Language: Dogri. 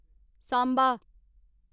सांबा